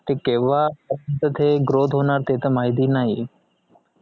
ते केव्हा त तिथे growth होणार ते त माहिती नाही